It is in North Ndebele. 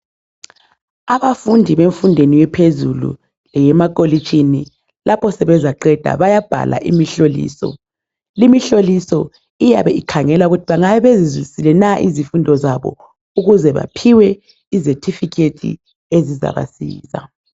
Abafundi bemfundo ephezulu emakholeji lapho sebazaqeda bayabhala imihloliso. Limihloliso iyabe ikhangela ukuthi bengabe bezizwisisile na izifundo zabo khona bezaphiwa izithupha zabo.